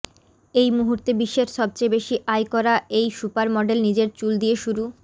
এই মুহূর্তে বিশ্বের সবচেয়ে বেশি আয় করা এই সুপার মডেল নিজের চুল দিয়ে শুরু